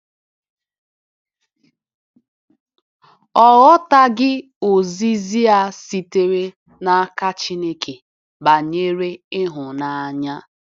Ọ ghọtaghị ozizi a sitere n’aka Chineke banyere ihunanya